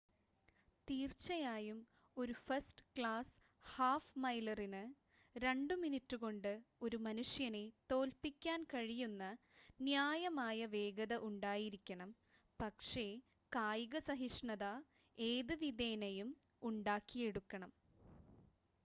തീർച്ചയായും ഒരു ഫസ്റ്റ്-ക്ലാസ് ഹാഫ്-മൈലറിന് രണ്ട് മിനിറ്റുകൊണ്ട് ഒരു മനുഷ്യനെ തോൽപ്പിക്കാൻ കഴിയുന്ന ന്യായമായ വേഗത ഉണ്ടായിരിക്കണം പക്ഷേ കായിക സഹിഷ്ണുത ഏത് വിധേനയും ഉണ്ടാക്കിയെടുക്കണം